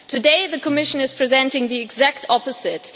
Today, the Commission is presenting the exact opposite.